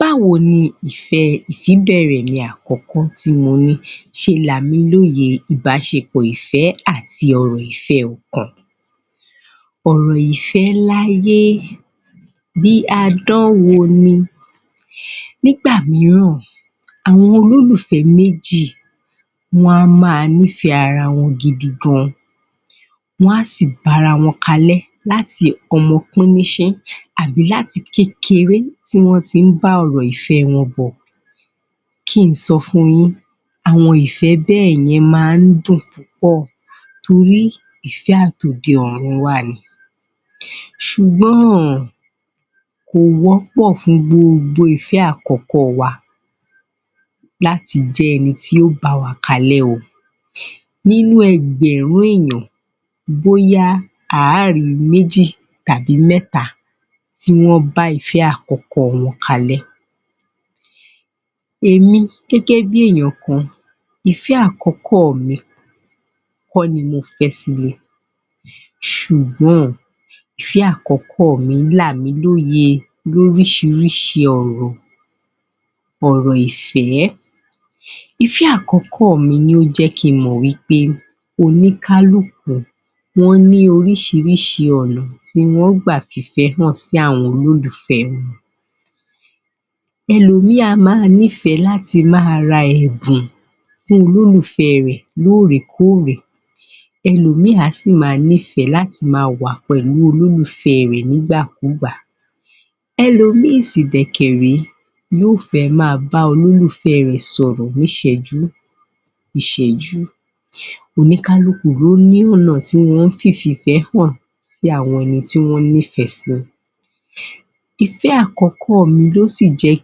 Bá́wo ni ìfẹ́ ìfíbẹ̀ẹ̀rẹ̀ mi àkọ́kọ́ tí mo ní ṣe là mí lóye ìbáṣepọ̀ àti ọ̀rọ̀ ìfẹ́ ọkàn? ọ̀rọ̀ ìfẹ́ láyé bí àdánwò ni Nígbà mìíràn àwọn olólùfẹ́ méjì wọ́n á máa ní ìfẹ́ ara wọn gidi gan wọ́n á sì bá ara wọn kalẹ́ láti ọmọ píníṣín àbí láti kékeré tí wọ́n ti ń bá ọ̀rọ̀ ìfẹ́ wọn bọ̀ Kí n sọ fun yín, àwọn ìfẹ́ bẹ́ẹ̀ yen máa ń dùn púpọ̀ nítorí ìfẹ́ àti òde ọ̀run wa ni ṣùgbọ́n, kò wọ́ pọ̀ fún gbogbo ìfẹ́ àkọ́kọ́ wa láti jẹ́ ẹni tí ó bá wa ka lẹ́ o Nínú ẹgbẹ̀rún èèyàn bóyá a ri méjì tàbí mẹ́ta tí wọ́n bá ìfẹ́ àkọ́kọ́ wọn kalẹ́ Èmi gẹ́gẹ́ bí èèyàn kan, ìfẹ́ àkọ́kọ́ mi kọ́ ni mo fẹ́ sílé ṣùgbọ́n, ìfẹ́ àkọ́kọ́ mi là mi lóye lóríṣiríṣi ọ̀rọ̀ ọ̀rọ̀ ìfẹ́ Ìfẹ́ àkọ́kọ́ mi ni ó jẹ́ kí n mọ̀ wí pé oní kálùkù ló ní oríṣiríṣi ọ̀nà tí wọ́n ń gbà fi ìfẹ́ hàn sí olólùfẹ wọn ẹlòmíì á máa fẹ́ràn láti máa ra ẹ̀bùn fún olólùfẹ́ rẹ̀ lóòrèkóòrè ẹlòmíì á sì máa nífẹ̀ẹ́ láti máa wà pẹ̀lú olólùfẹ́ rẹ̀ nígbàkugbà ẹlòmíì sì kẹ̀ dẹ̀ ré yóò fẹ́ máa bá olólùfẹ rẹ̀ sọ̀rọ̀ níṣẹ̀jú ìṣẹ́jú Oníkálùkù ló ní ọ̀nà tí wọ́n fi ń fìfẹ́ hàn sí àwọn ẹni tí wọn ní ìfẹ́ sí Ìfẹ́ àkọ́kọ́ mi ló sì jẹ́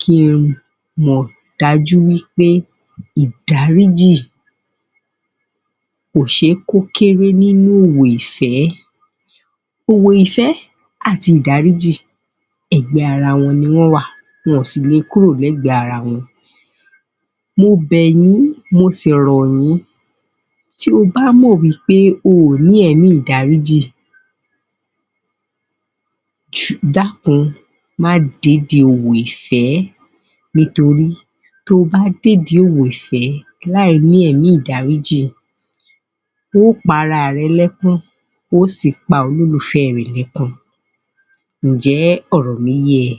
kí ń mọ̀ dájú wí pé ìdáríjì kò ṣe é kó kéré nínú òwò ìfẹ́ òwò ìfẹ́ àti ìdáríjì, ẹgbẹ́ ara wọn ni wọ́n wà, wọn ò sì lè kúrò lẹ́gbẹ̀ ara wọn Mo bẹ̀ yín, mo sì rọ̀ yín, bí o bá mọ̀ pé o kò ní ẹ̀mí ìdáríjì dákun má dé ìdí òwò ìfẹ́ nítorí tí o bá dé ìdí òwò ìfẹ́, láì ní ẹ̀mí ìdáríjì o ó pa ara rẹ lẹ́kún, o ó sì pa olólùfẹ́ rẹ lẹ́kún Ǹjẹ́ ọ̀rọ̀ mí yé ẹ?